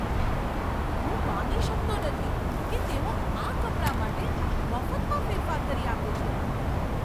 હું માની શકતો નથી કે તેઓ આ કપડાં માટે મફતમાં ફેરફાર કરી આપે છે!